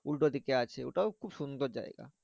উল্টো দিকে আছে ওটাও খুব সুন্দর জায়গা।